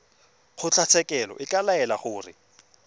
kgotlatshekelo e ka laela gore